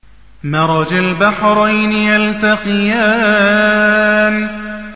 مَرَجَ الْبَحْرَيْنِ يَلْتَقِيَانِ